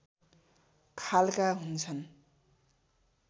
खालका हुन्छन्